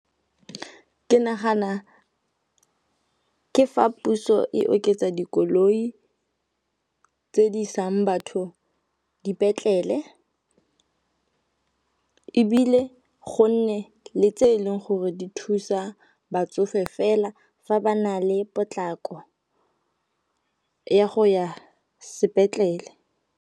Ke nagana ke fa puso e oketsa dikoloi tse di isang batho dipetlele ebile go nne le tse e leng gore di thusa batsofe fela fa ba na le potlako ya go ya sepetlele.